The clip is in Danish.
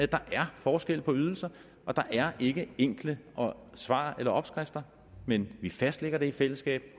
der er forskel på ydelserne og der er ikke enkle svar eller opskrifter men vi fastlægger det i fællesskab